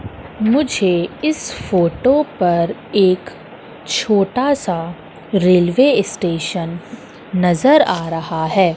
मुझे इस फोटो पर एक छोटा सा रेलवे स्टेशन नजर आ रहा है।